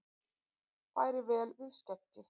Færi vel við skeggið!